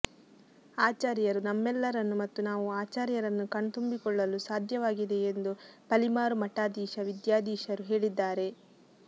ಆಚಾರ್ಯರು ನಮ್ಮೆಲ್ಲರನ್ನು ಮತ್ತು ನಾವು ಆಚಾರ್ಯರನ್ನು ಕಣ್ತುಂಬಿಕೊಳ್ಳಲು ಸಾಧ್ಯವಾಗಿದೆ ಎಂದು ಪಲಿಮಾರು ಮಠಾಧೀಶ ವಿದ್ಯಾಧೀಶರು ಹೇಳಿದ್ದಾರೆ